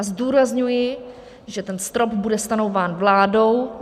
A zdůrazňuji, že ten strop bude stanovován vládou.